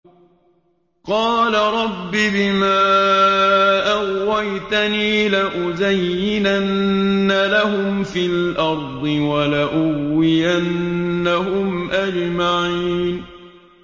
قَالَ رَبِّ بِمَا أَغْوَيْتَنِي لَأُزَيِّنَنَّ لَهُمْ فِي الْأَرْضِ وَلَأُغْوِيَنَّهُمْ أَجْمَعِينَ